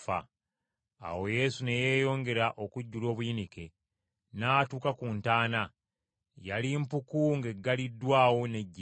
Awo Yesu ne yeeyongera okujjula obuyinike. N’atuuka ku ntaana. Yali mpuku ng’eggaliddwawo n’ejjinja.